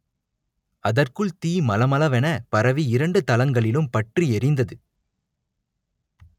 அதற்குள் தீ மளமள வென பரவி இரண்டு தளங்களிலும் பற்றி எரிந்தது